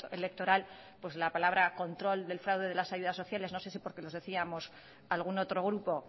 electoral pues la palabra control del fraude de las ayudas sociales no sé si porque los decíamos algún otro grupo